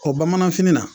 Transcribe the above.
O bamananfini na